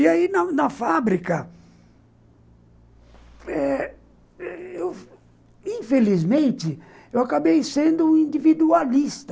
E aí, na fábrica, infelizmente, eu acabei sendo um individualista.